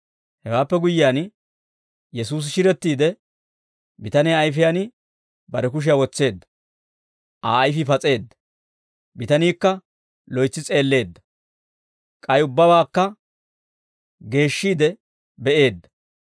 Hewaappe guyyiyaan, Yesuusi shirettiide bitaniyaa ayfiyaan bare kushiyaa wotseedda. Aa ayfii pas'eedda; bitaniikka loytsi s'eelleedda; k'ay ubbabaakka geeshshiide be'eedda.